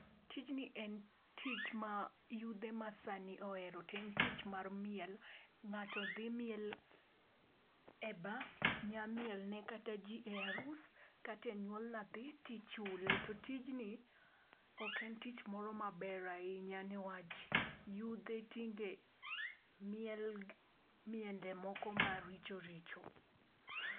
Tijni en tich ma yudhe masani ohero to en tich mar miel.Ng'ato dhi miel e bar, nya miel ne kata ji e arus kata enyuol nyathi to ichule. To tijni ok en tich moro maber ahinya, yudhe tinde mielo miende moko maricho richo.